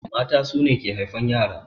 Mata su ne ke haifan ƴara.